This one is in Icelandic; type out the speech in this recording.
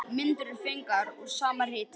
Myndir eru fengnar úr sama riti.